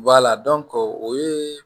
o ye